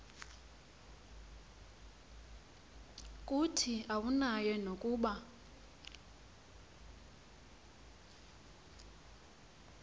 kuthi awunayo nokuba